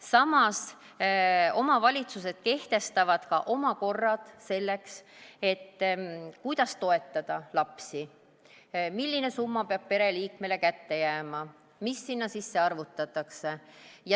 Samas omavalitsused kehtestavad ka oma korrad selleks, et toetada lapsi, milline summa peab pereliikmele kätte jääma ja mis sinna sisse arvutatakse.